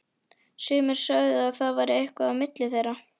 Sumir sögðu að það væri eitthvað á milli þeirra.